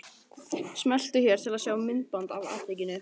Smeltu hér til að sjá myndband af atvikinu